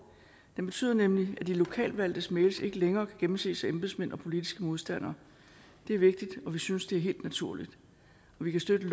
det betyder nemlig at de lokalt valgtes mails ikke længere kan gennemses af embedsmænd og politiske modstandere det er vigtigt og vi synes det er helt naturligt vi kan støtte